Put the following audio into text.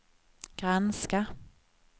granska